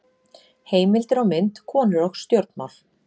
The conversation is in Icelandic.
Heimildir og mynd: Konur og stjórnmál.